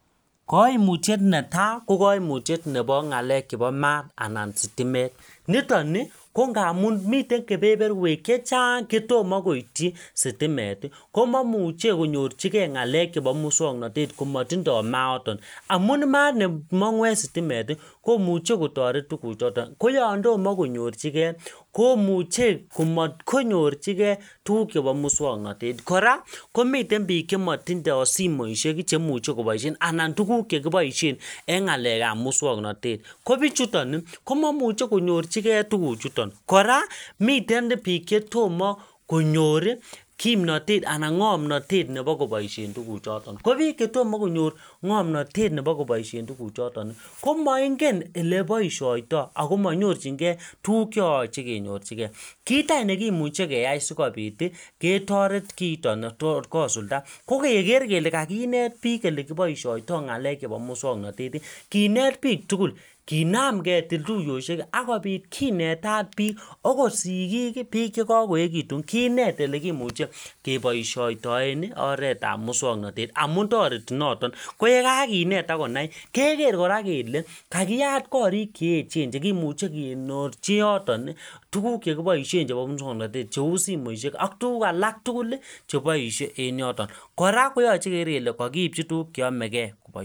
Kaimutyet netai ko kaimutyet nebo ng'alek chebo maat anan stimet nito ni ko ngamun miten kepeperwek chechang' chetomo koityi sitimet komamuche konyorchigei ng'alek chebo muswang'notet komatindoi mayato amun maat nemong'u en sitimet komuchei kotoret tukuchoto ko yon tomo konyorchige komuchei komatkonyorchigei tukuk chebo muswang'natet kora komiten biik chematindoi simoishek che muchei koboishen anan tukuk chekiboishen eng' ng'alekab muswong'notet ko biichuton komaimuche konyorchigei tukuchuton kora miten biik chetomo konyor kimnotet anan ng'omnoyet nebo koboishen tukuchoto ko biik chetomo konyor ng'omnotet nebo koboishen tukuchoto komaingen ele boishoitoi oko manyorchingei tuku cheyochei kenyorchigei kiit anyun nekimuchei keyai sikobit ketoret kiito ne tot kosulda ko keker kele kakinet biik ole kiboishoitoi ng'alek chebo muswang'notet kinet biik tugul kinaam ketil tuyoshek akobit kinetat biik akot sikik biik chekakoekekitun kinet ele kimuche keboishoitoen oretab muswang'natet amun toreti noton ko ye kakinet akonai keker kora kele kakiyat korik cheechen chekimuche kenyorchi yoton tukuk chekiboishe chebo muswang'notet cheu simoishek ak tukuk alak tugul cheboishe en yoton kora koyochei keker kele kakiipcho tukuk cheyamegei